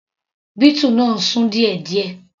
Beetle náà ń sún díẹ̀díẹ̀.